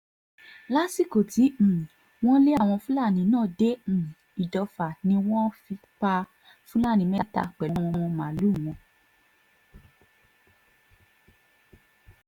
lásìkò tí um wọ́n lé àwọn fúlàní náà dé um ìdòfà ni wọ́n pa fúlàní mẹ́ta pẹ̀lú àwọn màálùú wọn